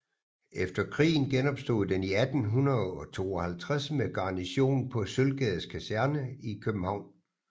Efter krigen genopstod den i 1852 med garnison på Sølvgades Kaserne i København